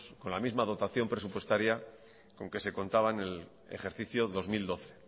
con la misma dotación presupuestaria con que se contaban en el ejercicio dos mil doce